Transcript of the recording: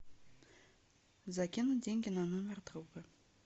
закинуть деньги на номер друга